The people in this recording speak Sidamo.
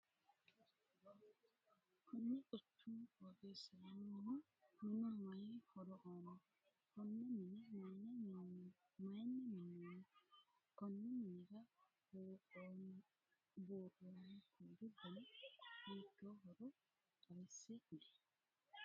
Kunni quchumu qooxeesira noohu minu mayi horo aano? Konne minne mayinni minoonni? Konni minnira buuroonni kuuli danni hiittoohoro xawise Kuli?